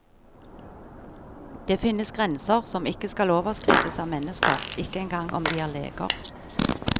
Det finnes grenser som ikke skal overskrides av mennesker, ikke engang om de er leger.